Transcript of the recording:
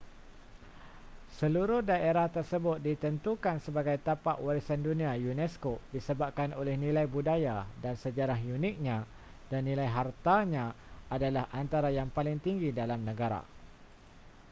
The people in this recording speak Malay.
seluruh daerah tersebut ditentukan sebagai tapak warisan dunia unesco disebabkan oleh nilai budaya dan sejarah uniknya dan nilai hartanya adalah antara yang paling tinggi dalam negara